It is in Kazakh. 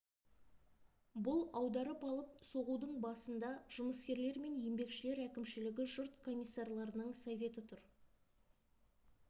бұл аударып алып соғудың басында жұмыскерлер мен еңбекшілер әкімшілігі жұрт комиссарларының советі тұр